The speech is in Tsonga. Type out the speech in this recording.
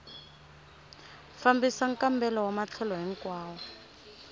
fambisa nkambelo wa matlhelo hinkwawo